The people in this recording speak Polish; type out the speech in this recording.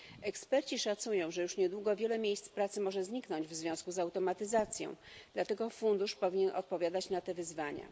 Eksperci szacują, że już niedługo wiele miejsc pracy może zniknąć w związku z automatyzacją, dlatego fundusz powinien odpowiadać na te wyzwania.